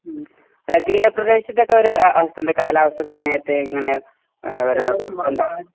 മ്ഹ് അല്ല തീരപ്രദേശത്തെ ഒക്കെ ഒരു അവസ്ഥ എന്താ കാലാവസ്ഥ സമയത്തെ ഇങ്ങനെ എന്താ പറയാ